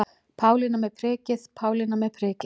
Pálína með prikið, Pálína með prikið.